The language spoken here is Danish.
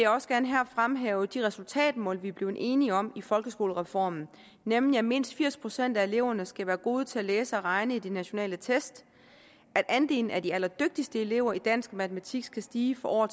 også gerne her fremhæve de resultatmål vi er blevet enige om i folkeskolereformen nemlig at mindst firs procent af eleverne skal være gode til at læse og regne i de nationale test at andelen af de allerdygtigste elever i dansk og matematik skal stige år